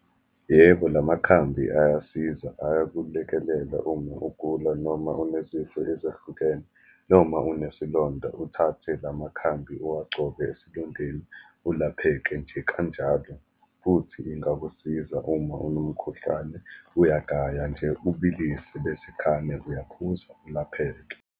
Yebo, la makhambi ayasiza, ayakulekelela uma ugula, noma unezifo ezahlukene, noma unesilonda, uthathe la makhambi uwagcobe esilondeni, ulapheke nje kanjalo. Futhi ingakusiza uma unomkhuhlane, uyagaya nje, ubilise, bese khane uyaphuza, ulapheke.